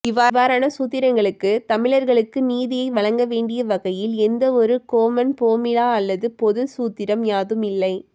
இவ்வாறன சூத்திரங்களுக்கு தமிழர்களுக்கு நீதியை வழங்கவேண்டிய வகையில் எந்த ஒரு கொமன் போமிலா அல்லது பொதுச் சூத்திரம் யாதும் இல்லை